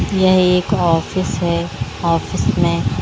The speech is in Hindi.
यह एक ऑफिस है ऑफिस में --